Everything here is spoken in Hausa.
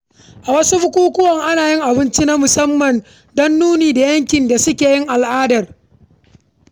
A wasu bukukuwan, ana yin abinci na musamman da ke nuna yankin da ake gudanar da su.